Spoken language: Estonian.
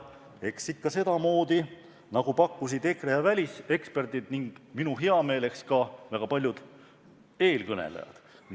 Eks ikka sedamoodi, nagu pakkusid EKRE ja väliseksperdid ning minu heameeleks ka väga paljud eelkõnelejad.